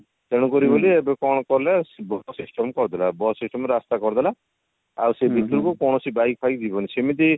ତେଣୁ କରି ବୋଲି ଏବେ କଣ କଲେ bus system କରିଦେଲେ ଆଉ bus system ରେ ରାସ୍ତା କରିଦେଲେ ଆଉ ସେ ଭିତରକୁ କୌଣସି bike ଫାଇକ ଯିବନି ସେମିତି